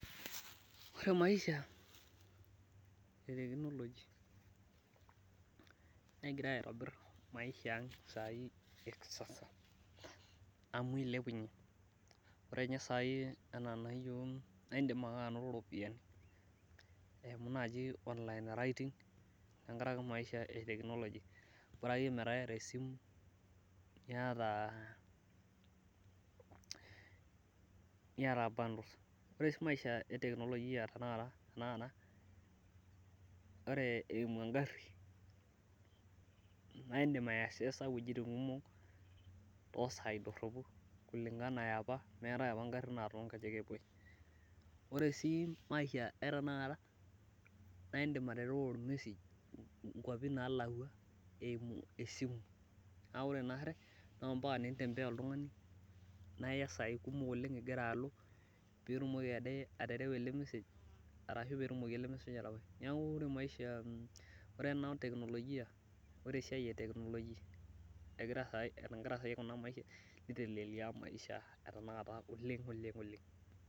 Ore maisha eteknoloji negira aitobir maisha ang ekisasa. Amu eilupunyie, ore sai tenakata yiok naa indim ake ainoto ropiyiani eimu naaji online writing, eimu naaji teknologi bora akeyie bora ekeyie metaa iyata esimu niyata buddies. Ore sii maisha eteknolojia tenakata ore eimu engari, naa indim aiaccesor wejitin kumok toosai doropu oleng enaa apa meetae apa ngarin toonkejenk epwoi. Ore sii maisha etanakata naa indim aterewa ormesej nkwapi naalakwa eimu esimu naa ore naari, naa mpaka nintembea oltungani naa iya saai kumok ingira alo pee itumoki aterewa ele mesej ashu pee etumoki ele mesej atabai. Neeku ore ena teknologi ore esiai eteknologia ,nitelelia maisha oleng'.